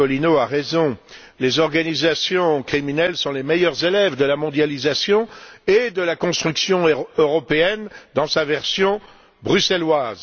Iacolino, a raison. Les organisations criminelles sont les meilleures élèves de la mondialisation et de la construction européenne dans sa version bruxelloise.